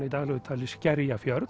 í daglegu tali Skerjafjörð